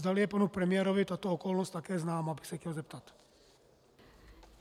Zdali je panu premiérovi tato okolnost také známa, bych se chtěl zeptat.